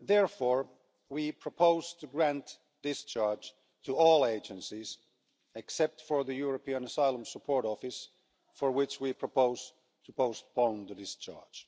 Therefore, we proposed to grant discharge to all agencies, except for the European Asylum Support Office, for which we propose to postpone the discharge.